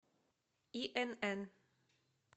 инн